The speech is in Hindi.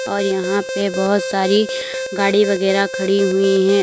और यहां पे बहुत सारी गाड़ी वगैरह खड़ी है।